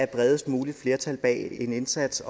bredest mulige flertal bag en indsats